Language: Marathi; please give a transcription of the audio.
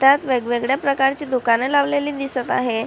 त्यात वेगवेगळ्या प्रकारची दुकाने लावलेली दिसत आहे.